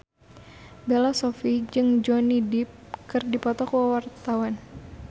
Bella Shofie jeung Johnny Depp keur dipoto ku wartawan